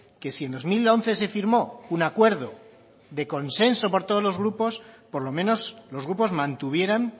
que si en dos mil once se firmó un acuerdo de consenso por todos los grupos por lo menos los grupos mantuvieran